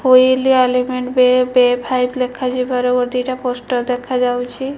Wheel ଆଲିଫେଣ୍ଟ ବେ ପେ ଫାଇପ ଲେଖାଯିବାର ଓ ଦିଟା ପୋଷ୍ଟର ଦେଖାଯାଉଛି।